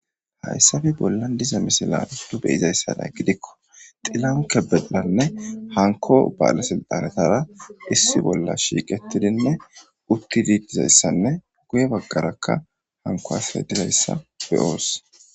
hayssappe bollan diza misilan beyizayssanay gidikko xilahun kebediranne hanko ba'ala silixxanetara issi bolla shiiqettidinne uttid dizayssanne guye baggarakka hanikko asay dizayssa beoos